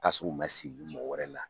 Ka su man sigi mɔgɔ wɛrɛ la.